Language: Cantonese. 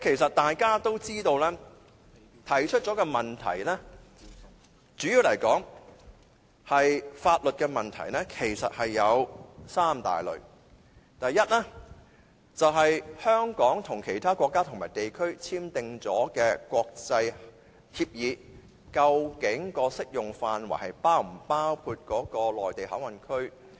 我們提出的問題主要是法律問題，這些問題有三大類：第一，香港與其他國家和地區已簽訂的國際協議的適用範圍是否包括內地口岸區？